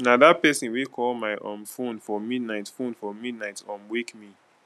na dat pesin wey call my um fone for midnight fone for midnight um wake me